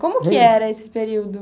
Como que era esse período?